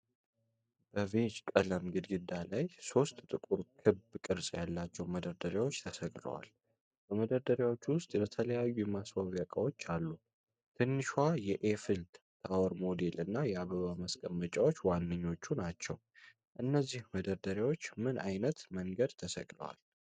በቢዥ ቀለም ግድግዳ ላይ ሦስት ጥቁር ኩብ ቅርጽ ያላቸው መደርደሪያዎች ተሰቅለዋል። በመደርደሪያዎቹ ውስጥ የተለያዩ የማስዋቢያ ዕቃዎች አሉ። ትንሿ የኤፍል ታወር ሞዴል እና የአበባ ማስቀመጫዎች ዋነኞቹ ናቸው። እነዚህ መደርደሪያዎች በምን ዓይነት መንገድ ተሰቅለዋል?